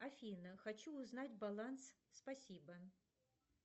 афина хочу узнать баланс спасибо